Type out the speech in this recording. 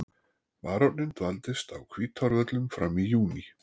Baróninn dvaldist á Hvítárvöllum fram í júní.